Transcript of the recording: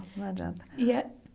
Não adianta.